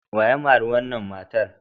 Wa ya mari wannan matar?